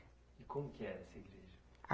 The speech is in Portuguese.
E como que era essa igreja? Ah